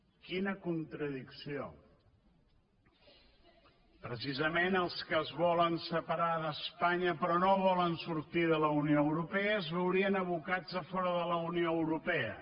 quina contradicció precisament els que es volen separar d’espanya però no volen sortir de la unió europea es veurien abocats a fora de la unió europea